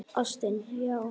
Ástin, já!